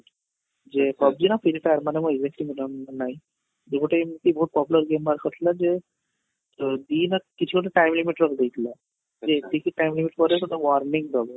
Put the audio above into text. ଯେ PUBG ନା free fire ମାନେ ମୋ evenly ମୋତେ ଆଉ ମାନେ ନାଇଁ ୟେ ଗୋଟେ ଏମିତି ବହୁତ popular game ବାହାର କରିଥିଲା ଯେ ଦି ମାସ କିଛି ଗୋଟେ time limit ରଖି ଦେଇଥିଲା ଯେ ଏତିକି timing ପରେ ଗୋଟେ warning ଦବ